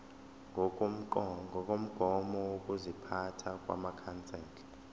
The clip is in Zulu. ngokomgomo wokuziphatha wamakhansela